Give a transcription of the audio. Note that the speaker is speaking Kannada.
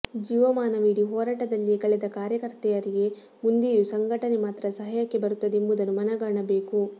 ಜೀವಮಾನವಿಡೀ ಹೋರಾಟದಲ್ಲಿಯೇ ಕಳೆದ ಕಾರ್ಯಕರ್ತೆಯರಿಗೆ ಮುಂದೆಯೂ ಸಂಘಟನೆ ಮಾತ್ರ ಸಹಾಯಕ್ಕೆ ಬರುತ್ತದೆ ಎಂಬುದನ್ನು ಮನಗಾಣಬೇಕು